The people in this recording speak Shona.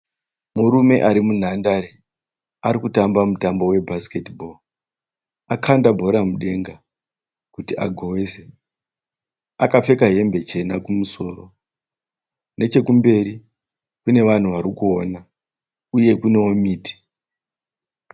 Murume arimunhandare arikutamba mutambo webhasiketi bhoo. Akanda bhora mudenga kuti agowese. Akapfeka hembe chena kumusoro. Nechekumberi kune vanhu varikuona, uye kunowo miti.